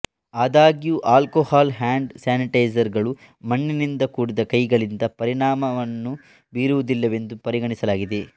ಆದಾಗ್ಯೂ alcohol hand sanitiser ಗಳು ಮಣ್ಣಿನಿಂದ ಕೂಡಿದ ಕೈಗಳಿಗೆ ಪರಿಣಾಮವನ್ನು ಬೀರುವುದಿಲ್ಲವೆಂದು ಪರಿಗಣಿಸಲಾಗಿದೆ